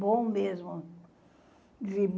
Bom mesmo.